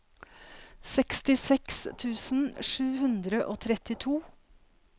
sekstiseks tusen sju hundre og trettito